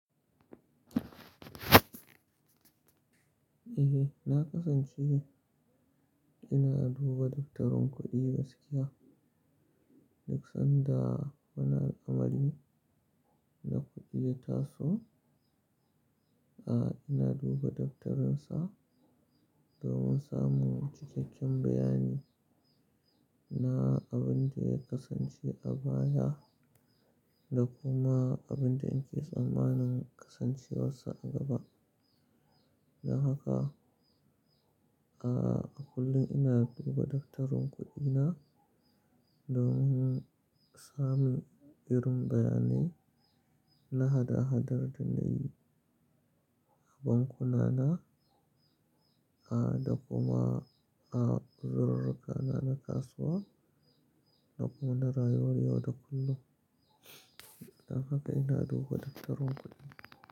Eh na kasance ina duba daftarin kuɗi gaskiya duk sanda wani al'amari na kuɗi da taso. A'a ina duba daftarin sa domin samun cikakken bayani na abin da ya kasance a baya da kuma abin da in ke tsammanin kasancewarsa a gaba. Don haka, a'a a kullum ina duba daftarin kuɗi na domin samun irin bayanai na hada hadar da na yi a bankunana da kuma uzurrukana na kasuwa da kuma na rayuwar yau da kullum. Don haka ina duba daftarin kuɗi.